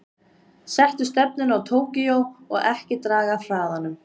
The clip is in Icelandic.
Settu stefnuna á Tókýó og ekki draga af hraðanum.